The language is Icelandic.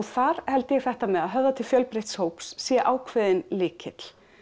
þar held ég að þetta með að höfða til fjölbreytts hóps sé ákveðinn lykill